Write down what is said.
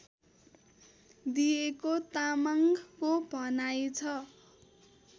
दिएको तामाङको भनाइ छ